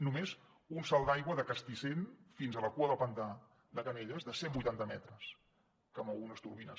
només un salt d’aigua de castissent fins a la cua del pantà de canelles de cent vuitanta metres que mou unes turbines